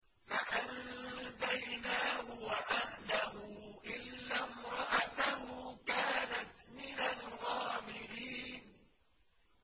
فَأَنجَيْنَاهُ وَأَهْلَهُ إِلَّا امْرَأَتَهُ كَانَتْ مِنَ الْغَابِرِينَ